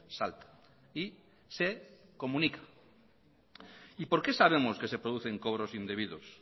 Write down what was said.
salta y se comunica y por qué sabemos que se producen cobros indebidos